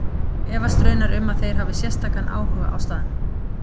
Ég efast raunar um að þeir hafi sérstakan áhuga á staðnum.